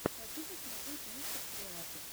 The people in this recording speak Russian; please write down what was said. хочу посмотреть мистер креатор